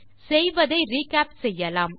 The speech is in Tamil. செய்ததை ரிகேப் செய்யலாம்